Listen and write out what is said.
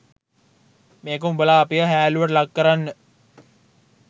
මේක උඹලා අපිව හෑල්ලුවට ලක් කරන්න